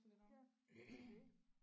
Ja så det